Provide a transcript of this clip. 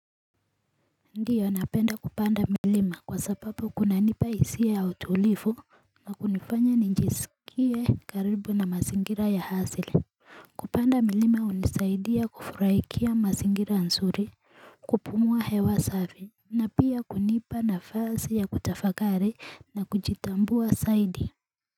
Ndiyo napenda kupanda milima kwa sababu kunanipa hisia i ya utulivu na kunifanya njisikie karibu na mazingira ya asili kupanda milima hunisaidia kufuraikia mazingira nzuri kupumua hewa safi na pia hunipa nafasi ya kutafakari na kujitambua zaidi.